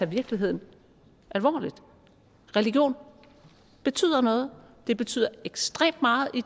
virkeligheden alvorligt religion betyder noget det betyder ekstremt meget i